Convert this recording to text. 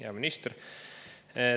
Hea minister!